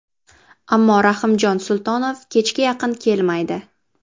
Ammo Rahimjon Sultonov kechga yaqin kelmaydi.